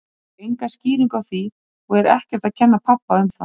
Ég fékk enga skýringu á því og er ekkert að kenna pabba um það.